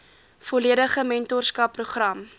volledige mentorskap program